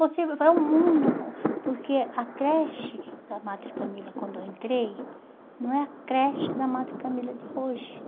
Você vai ao mundo com... Porque a creche da Madre Camila, quando eu entrei, não é a creche da Madre Camila de hoje.